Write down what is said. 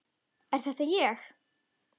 Er þetta ég?